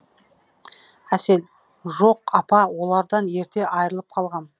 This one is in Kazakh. әсел жоқ апа олардан ерте айырылып қалғам